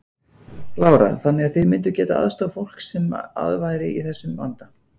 Lára: Þannig að þið mynduð getað aðstoðað fólk sem að væri í þessum vanda?